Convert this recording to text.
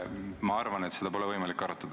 Ma arvan, et seda teemat pole võimalik arutada.